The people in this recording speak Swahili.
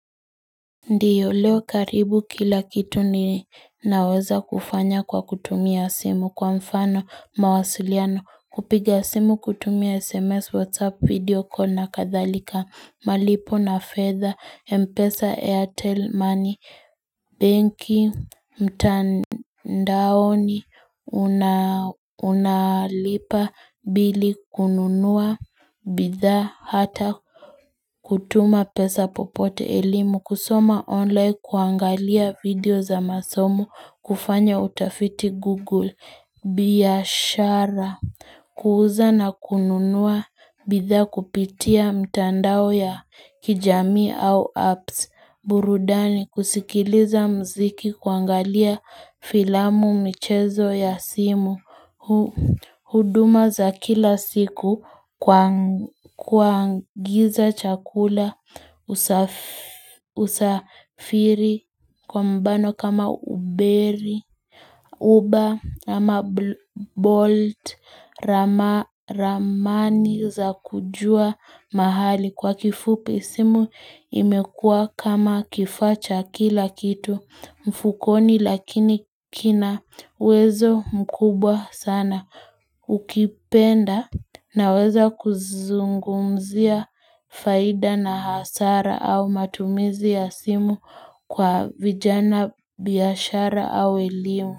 Ndiyo leo karibu kila kitu ni naweza kufanya kwa kutumia simu kwa mfano mawasiliano kupiga simu kutumia sms whatsapp video call na kadhalika malipo na fedha mpesa air tell money benki mtandaoni una unalipa bili kununua bidhaa hata kutuma pesa popote elimu, kusoma online, kuangalia video za masomo, kufanya utafiti Google, biyashara, kuuza na kununua, bidhaa kupitia mtandao ya kijamii au apps, burudani, kusikiliza mziki, kuangalia filamu michezo ya simu huduma za kila siku kuagiza chakula usafiri kwa mbano kama uberi, uber ama bolt, ramani za kujua mahali kwa kifupi simu imekua kama kifaa cha kila kitu. Mfukoni lakini kina uwezo mkubwa sana ukipenda naweza kuzungumzia faida na hasara au matumizi ya simu kwa vijana biashara au elimu.